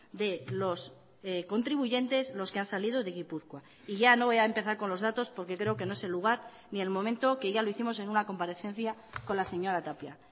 de los contribuyentes los que han salido de gipuzkoa y ya no voy a empezar con los datos porque creo que no es el lugar ni el momento que ya lo hicimos en una comparecencia con la señora tapia